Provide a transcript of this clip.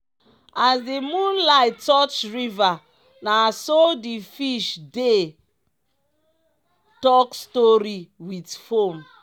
as di moonlight touch river na so the fish dey talk story wit foam.